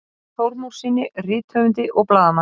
Úlfari Þormóðssyni rithöfundi og blaðamanni.